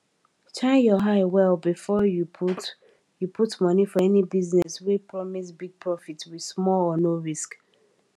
shine your eye well before you put you put money for any business wey promise big profit with small or no risk